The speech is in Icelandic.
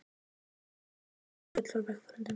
Í kringum mig ómuðu hlátrasköll frá vegfarendum.